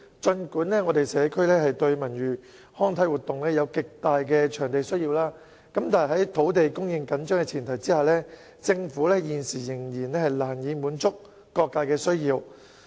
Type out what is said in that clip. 儘管社區對文娛康體活動場地有極大需要，但在土地供應緊張的前提下，政府現時仍然難以滿足各界的需要。